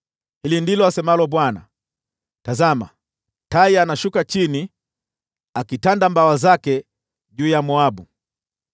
Hili ndilo asemalo Bwana : “Tazama! Tai anashuka chini, akitanda mabawa yake juu ya Moabu.